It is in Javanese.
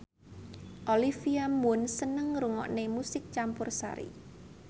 Olivia Munn seneng ngrungokne musik campursari